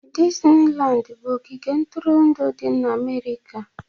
Disnilandi bụ ogige ntụrụndụ di na Amerika